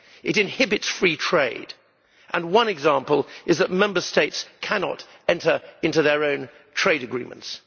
It inhibits free trade, and one example is that Member States cannot enter into their own trade agreements.